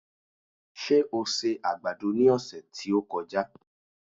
Ṣé o se àgbàdo ní ọ̀sẹ̀ tí ó kọjá?